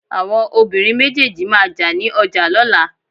awọn obirín méjèèjì ma jà ni oja lolà